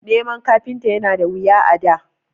Neman kafinta yana da wuya a da